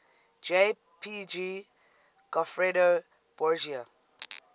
jpg goffredo borgia